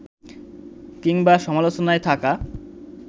কিংবা সমালোচনায় থাকা